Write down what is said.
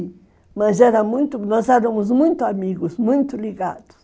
E, nós éramos muito amigos, muito ligados.